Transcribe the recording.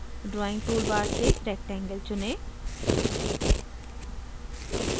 drawing toolbar से rectangle चुनें